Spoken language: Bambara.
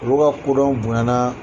Olu ka kodɔnw bonya na.